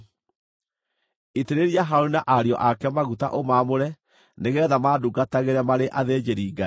“Itĩrĩria Harũni na ariũ ake maguta ũmaamũre nĩgeetha mandungatagĩre marĩ athĩnjĩri-Ngai.